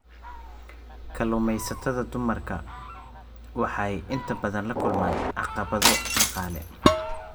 Kalluumeysatada dumarka ah waxay inta badan la kulmaan caqabado dhaqaale.